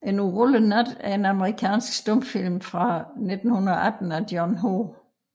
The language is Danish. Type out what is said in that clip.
En urolig Nat er en amerikansk stumfilm fra 1918 af John H